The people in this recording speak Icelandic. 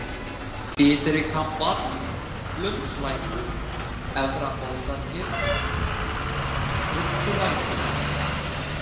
Ytri-Kambar, Blundslækur, Efra-Bótargil, Krubbulækur